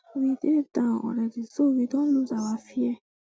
we dey down already so we don lose our fear